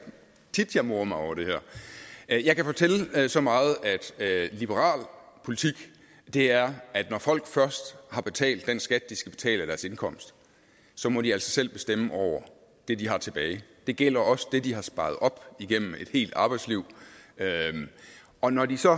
tit jeg morer mig over det her jeg kan fortælle så meget at liberal politik er at når folk først har betalt den skat de skal betale af deres indkomst må de altså selv bestemme over det de har tilbage det gælder også det de har sparet op igennem et helt arbejdsliv og når de så